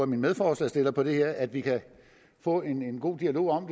mine medforslagsstillere på det her forslag at vi kan få en god dialog om